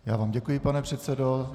Já vám děkuji, pane předsedo.